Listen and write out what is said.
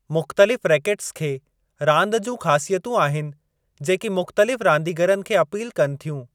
मुख़्तलिफ़ रेकेट्स खे रांदि जूं ख़ासियतूं आहिनि जेकी मुख़्तलिफ़ रांदीगरनि खे अपील कनि थियूं।